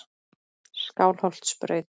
Skálholtsbraut